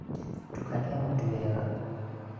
tukania mũtu wega